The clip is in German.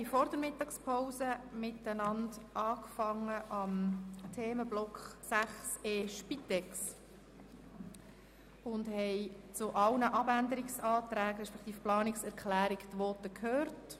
Vor der Mittagspause haben wir mit dem Themenblock 6.e Spitex begonnen und die Voten zu allen Planungserklärungen gehört.